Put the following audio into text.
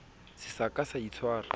se sa ka sa itshwara